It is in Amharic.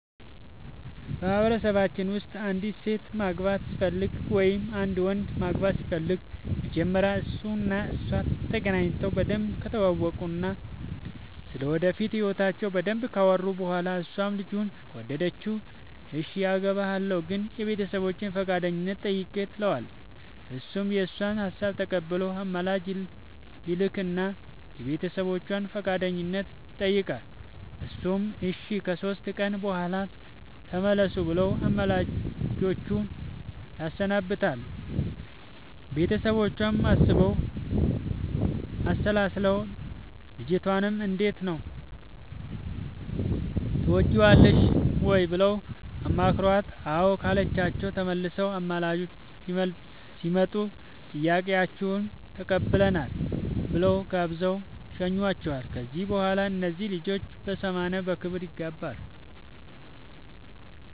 በማህበረሰባችን ውስጥ አንዲት ሴት ማግባት ስትፈልግ ወይም አንድ ወንድ ማግባት ሲፈልግ መጀመሪያ እሱ እና እሷ ተገናኝተው በደንብ ከተዋወቁ እና ስለ ወደፊት ህይወታቸው በደንብ ካወሩ በኋላ እሷም ልጁን ከወደደችው እሽ አገባሀለሁ ግን የቤተሰቦቼን ፈቃደኝነት ጠይቅ ትለዋለች እሱም የእሷን ሀሳብ ተቀብሎ አማላጅ ይልክ እና የቤተሰቦቿን ፈቃደኝነት ይጠይቃል እነሱም እሺ ከሶስት ቀን በኋላ ተመለሱ ብለው አማላጆቹን ያሰናብታሉ ቤተሰቦቿም አስበው አሠላስለው ልጅቷንም እንዴት ነው ትወጅዋለሽ ወይ ብለው አማክረዋት አዎ ካለቻቸው ተመልሰው አማላጆቹ ሲመጡ ጥያቄያችሁን ተቀብለናል ብለው ጋብዘው ይሸኙዋቸዋል ከዚያ በኋላ እነዚያ ልጆች በሰማንያ በክብር ይጋባሉ።